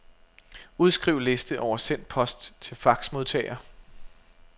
Udskriv liste over sendt post til faxmodtager.